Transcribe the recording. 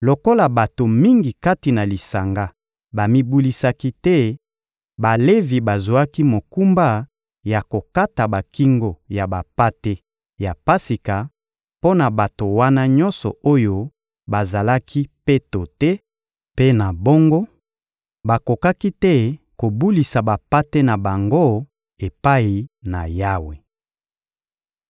Lokola bato mingi kati na lisanga bamibulisaki te, Balevi bazwaki mokumba ya kokata bakingo ya bampate ya Pasika mpo na bato wana nyonso oyo bazalaki peto te; mpe na bongo, bakokaki te kobulisa bampate na bango epai na Yawe.